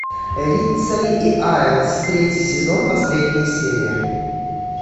риццоли и айлс третий сезон последняя серия